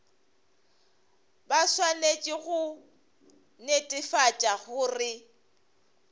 ba swanetše go netefatša gore